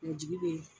jigi bɛ yen